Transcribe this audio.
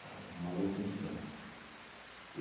uma luta insana.